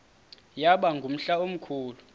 yaba ngumhla omkhulu